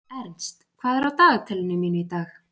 Ernst, hvað er á dagatalinu mínu í dag?